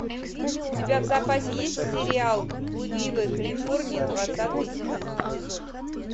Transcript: у тебя в запасе есть сериал блудливая калифорния двадцатый эпизод